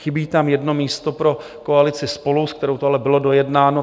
Chybí tam jedno místo pro koalici SPOLU, s kterou to ale bylo dojednáno.